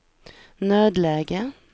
nödläge